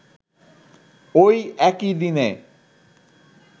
ঐ একই দিনে